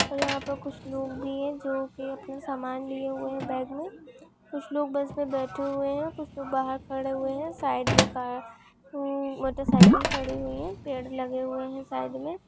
यहा पर कुछ लोग भी है जो की अपने समान लिए हुए है बॅग में कुछ लोग बस में बैठे हुए है कुछ लोग बाहर खड़े हुए है साइड में का हम्म मोटर साइकल खड़ी हुई है पेड़ लगे हुए है साइड में।